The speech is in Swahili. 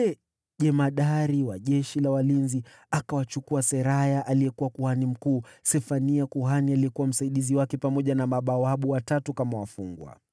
Yule jemadari wa askari walinzi akawachukua kama wafungwa Seraya kuhani mkuu, kuhani Sefania aliyefuata kwa cheo, na mabawabu watatu.